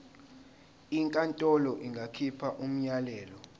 inkantolo ingakhipha umyalelo